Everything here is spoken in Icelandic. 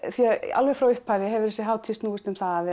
alveg frá upphafi hefur þessi hátíð snúist um það að